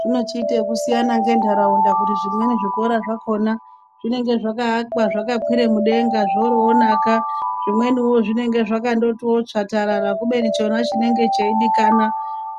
Zvinochiite yekusiyana ngendaraunda kuti zvimweni zvikora zvakona zvinenge zvakayakwa zvakakwire mudenga zvoryo naka zvinweniwo zvinenge zvangangotiwo tsvatarara kubeni chona chinenge cheyidikana